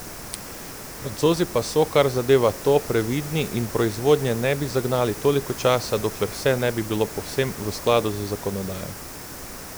Francozi pa so, kar zadeva to, previdni in proizvodnje ne bi zagnali toliko časa, dokler vse ne bi bilo povsem v skladu z zakonodajo.